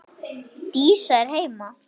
Dísa er heima!